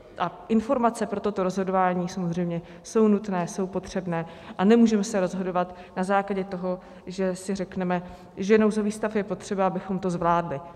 A informace pro toto rozhodování samozřejmě jsou nutné, jsou potřebné a nemůžeme se rozhodovat na základě toho, že si řekneme, že nouzový stav je potřeba, abychom to zvládli.